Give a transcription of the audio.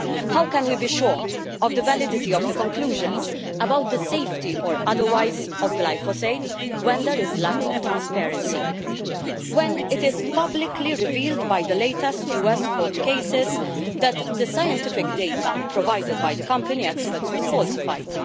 How can we be sure of the validity of the conclusions about the safety or otherwise of glyphosate when there is lack of transparency, and when it has been publicly revealed by the latest US court cases that the scientific data provided by the company experts was falsified?